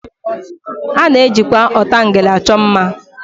A na-ejikwa ọtangele achọ mma